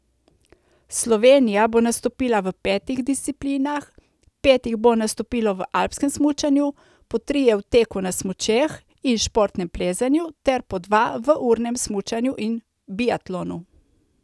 Slovenija bo nastopila v petih disciplinah, pet jih bo nastopilo v alpskem smučanju, po trije v teku na smučeh in športnem plezanju ter po dva v urnem smučanju in biatlonu.